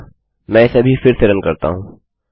अतः मैं इसे अभी फिर से रन करता हूँ